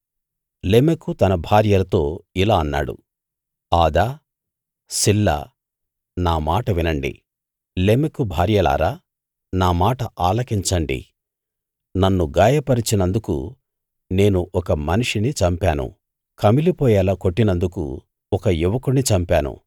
లెమెకు తన భార్యలతో ఇలా అన్నాడు ఆదా సిల్లా నా మాట వినండి లెమెకు భార్యలారా నా మాట ఆలకించండి నన్ను గాయపరచినందుకు నేను ఒక మనిషిని చంపాను కమిలిపోయేలా కొట్టినందుకు ఒక యువకుణ్ణి చంపాను